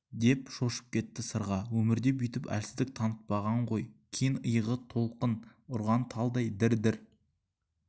деп шошып кетті сырға өмірде бүйтіп әлсіздік танытпаған ғой кең иығы толқын ұрған талдай дір-дір